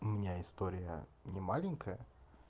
у меня история не маленькая